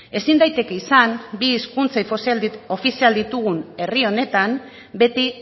ezin daiteke izan bi hizkuntza ofizial ditugun herri honetan beti